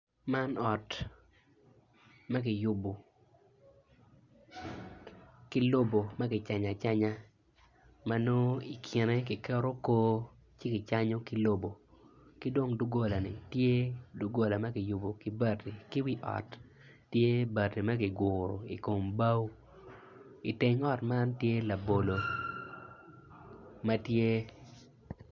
Man ot ma kiyubo ki lobo ma kicanyo acanya m nongo i kine kiketo koo ci kicanyo ki lobo ki dong dogolani tye dogola ma kiyubo ki bati ki wi ot tye bati ma kiguro ki bao iteng ot man tye labolo ma tye.